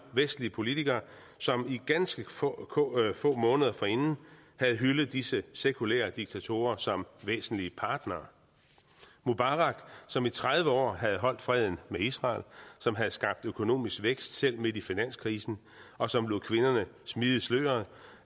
vestlige politikere som ganske få få måneder forinden havde hyldet disse sekulære diktatorer som væsentlige partnere mubarak som i tredive år havde holdt freden med israel som havde skabt økonomisk vækst selv midt i finanskrisen og som lod kvinderne smide sløret